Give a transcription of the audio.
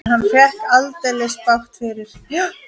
En hann fékk aldeilis bágt fyrir.